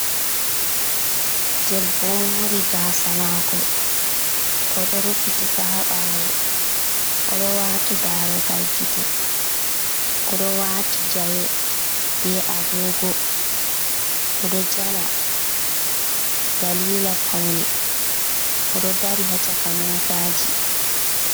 Debbo mori gasa mako oɗo ruffitikaha bawo, odo wati darogal gite, oɗo wati jawe be agogo, oɗo jala dalila paune, odo dari hacaka motaji.